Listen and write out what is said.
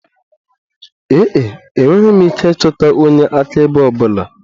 Ee e, enweghị m ike ịchọta onye akaebe ọ bụla.